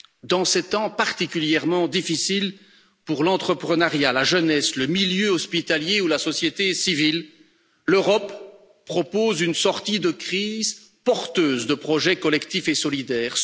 Dans ces temps particulièrement difficiles pour l'entrepreneuriat, la jeunesse, le milieu hospitalier, ou la société civile, l'Europe propose une sortie de crise, porteuse de projets collectifs et solidaires.